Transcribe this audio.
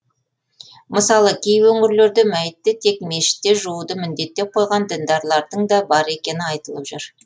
мысалы кей өңірлерде мәйітті тек мешітте жууды міндеттеп қойған діндарлардың да бар екені айтылып жүр